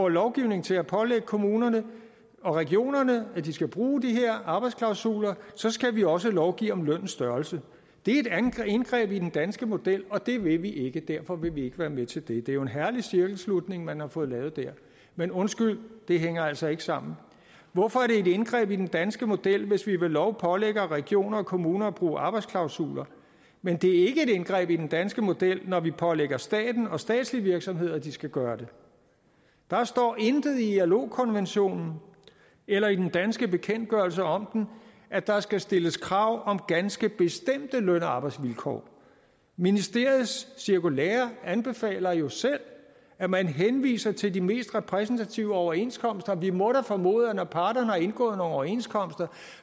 lovgivning til at pålægge kommunerne og regionerne at de skal bruge de her arbejdsklausuler så skal vi også lovgive om lønnens størrelse det er et indgreb i den danske model og det vil vi ikke og derfor vil vi ikke være med til det det er jo en herlig cirkelslutning man har fået lavet der men undskyld det hænger altså ikke sammen hvorfor er det et indgreb i den danske model hvis vi ved lov pålægger regioner og kommuner at bruge arbejdsklausuler men det er ikke et indgreb i den danske model når vi pålægger staten og statslige virksomheder at de skal gøre det der står intet i ilo konventionen eller i den danske bekendtgørelse om den at der skal stilles krav om ganske bestemte løn og arbejdsvilkår ministeriets cirkulære anbefaler jo selv at man henviser til de mest repræsentative overenskomster og vi må da formode at når parterne har indgået overenskomst er